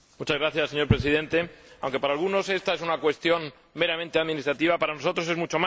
Señor Presidente, aunque para algunos esta es una cuestión meramente administrativa, para nosotros es mucho más.